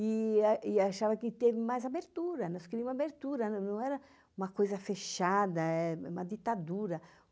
E achava que teve mais abertura, nós queríamos abertura, não era uma coisa fechada, uma ditadura.